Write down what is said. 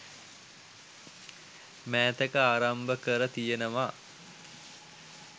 මෑතක ආරම්භ කර තියෙනවා